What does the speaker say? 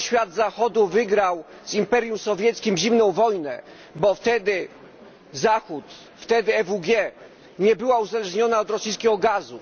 Dlatego świat Zachodu wygrał z imperium sowieckim zimną wojnę, bo wtedy Zachód, wtedy EWG nie była uzależniona od rosyjskiego gazu.